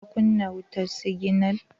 ka kunna wutan siginal?